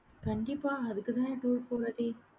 கண்டிப்பா அதுக்குதான் எப்பவும்